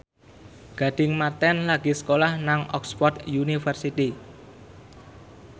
Gading Marten lagi sekolah nang Oxford university